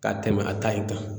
Ka tɛmɛ a ta in kan